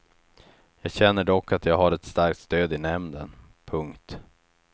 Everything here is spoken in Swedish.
Jag känner dock att jag har ett starkt stöd i nämnden. punkt